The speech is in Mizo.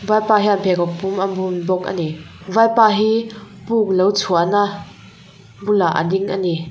vaipa hian pheikhawk pum a bun bawk a ni vaipa hi puk lo chhuah na bulah a ding a ni.